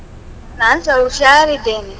ನಾನ್ಸ ಹುಷಾರಿದ್ದೇನೆ.